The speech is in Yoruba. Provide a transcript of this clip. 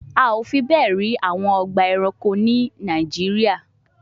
A ò fi bẹ́ẹ̀ rí àwọn ọgbà ẹranko ní Nàìjíríà